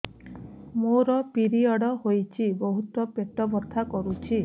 ମୋର ପିରିଅଡ଼ ହୋଇଛି ବହୁତ ପେଟ ବଥା କରୁଛି